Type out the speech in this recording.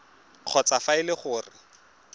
kgotsa fa e le gore